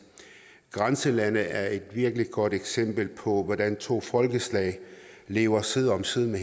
grænselandet er et virkelig godt eksempel på hvordan to folkeslag lever side om side